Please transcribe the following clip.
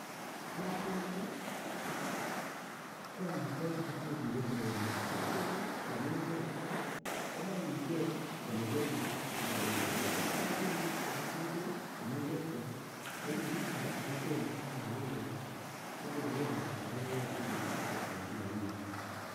piasinik ko amitwokik chemoe ripet neo nia, piasinik yon imine en mbar komoe iker ile kepitisie kila wikit, yoche ipit chepo kutik ko mengechen akipit kora chepo koristo yo woo koristo ak yo woo ropta koyoche ipitisie en kila wikit.